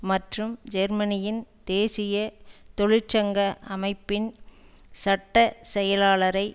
மற்றும் ஜெர்மனியின் தேசிய தொழிற்சங்க அமைப்பின் சட்ட செயலாளரை